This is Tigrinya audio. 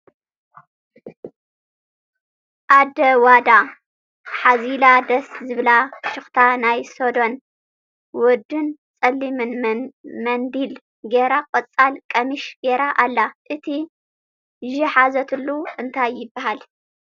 ኣደ ዋዳ፡ሓዚላ ደስ ዝብል ፍሽክታ ናይ ስዶን ውድን ፀሊም መንዲል ጌራ ቆፃል ቀሚሽ ጌራ ኣላ ኣቲ ዥሓዘልትሉ እንታይ ይብሃል ?